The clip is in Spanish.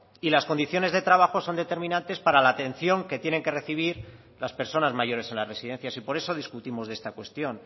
y las condiciones de trabajo son determinantes para la atención que tienen que recibir las personas mayores en las residencias y por eso discutimos de esta cuestión